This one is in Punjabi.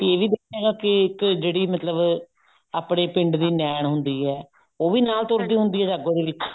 ਇਹ ਵੀ ਇੱਕ ਜਿਹੜੀ ਮਤਲਬ ਆਪਨੇ ਪਿੰਡ ਦੀ ਨੈਣ ਹੁੰਦੀ ਹੈ ਉਹ ਵੀ ਨਾਲ ਤੁਰਦੀ ਹੁੰਦੀ ਹੈ ਜਾਗੋ ਦੇ ਵਿੱਚ